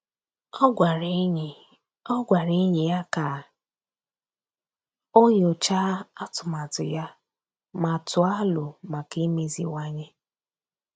Ọ́ gwàrà ényì Ọ́ gwàrà ényì ya kà o nyòcháá atụmatụ ya ma tụ́ọ́ alo maka imeziwanye.